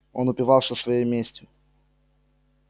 он упивался своей местью